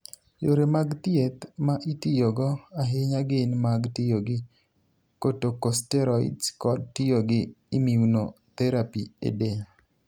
Yore mag thieth ma itiyogo ahinya gin mag tiyo gi corticosteroids kod tiyo gi immunotherapy e del.